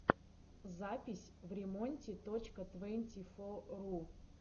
запись времонте точка твэнти фо ру